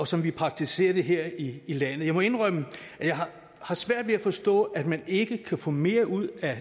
som vi praktiserer det her i landet jeg må indrømme at jeg har svært ved at forstå at man ikke kan få mere ud af